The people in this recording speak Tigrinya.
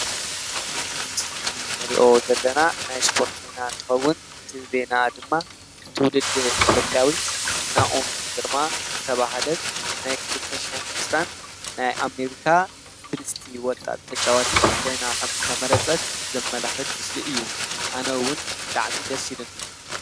አብዚ ምስሊ እንሪኦ ዘለና ናይ እስፖርት ዜና እንትኸውን ፤ እዚ ዜና ድማ ትውልድ ኢትዮጵያዊት ናኦም ግርማ ዝተብሃለት ናይ 2020 ናይ አሜሪካ ብልፅቲ ወጣት ተጫዋቲት ኮይና ከምዝተመረፀት ዘመላክት ምስሊ እዩ፡፡ አነ እውን ብጣዕሚ ደስ ኢሉኒ፡፡